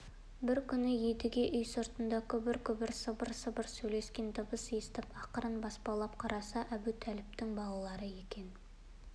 бір күні едіге үй сыртында күбір-күбір сыбыр-сыбыр сөйлескен дыбыс естіп ақырын баспалап қараса әбутәліптің балалары екен